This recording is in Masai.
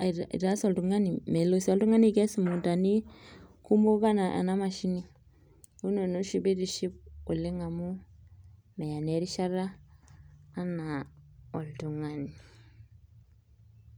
aitaas oltungani melo sii oltungani aikes mukuntani kumok enaa nea mashini neeku ina naa oshi pee aitiship oleng amu meya erishata oleng enaa oltungani.